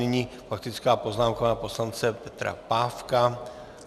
Nyní faktická poznámka pana poslance Petra Pávka.